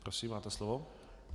Prosím, máte slovo.